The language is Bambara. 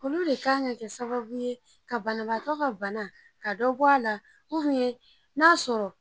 Olu le kan ka kɛ sababu ye ka banaabatɔ ka bana ka dɔ bɔ a la ubiyɛn n'a sɔrɔ